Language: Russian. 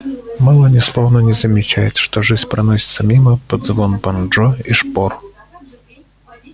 мелани словно не замечает что жизнь проносится мимо под звон банджо и шпор